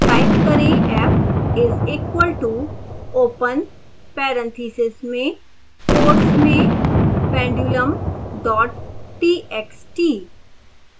type करें f is equal to open parentheses में quotes में pendulum dot txt